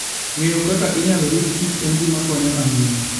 Ng'eyo kaka inyalo ritkichen gima konyo ahinya.